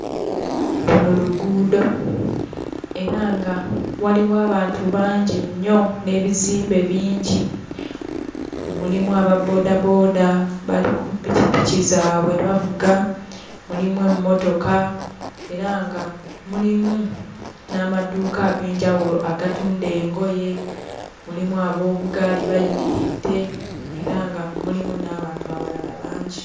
Luno luguudo era nga waliwo abantu bangi nnyo n'ebizimbe bingi. Mulimu ababboodabooda bali pikipiki zaabwe bavuga, mulimu emmotoka era nga mulimu n'amaduuka ag'enjawulo agatunda engoye, mulimu aboobugaali bayimiridde era nga mulimu n'abantu abalala bangi.